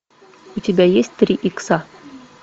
у тебя есть три икса